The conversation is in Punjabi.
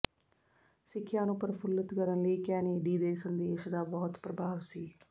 ਸਿੱਖਿਆ ਨੂੰ ਪ੍ਰਫੁੱਲਤ ਕਰਨ ਲਈ ਕੈਨੇਡੀ ਦੇ ਸੰਦੇਸ਼ ਦਾ ਬਹੁਤ ਪ੍ਰਭਾਵ ਸੀ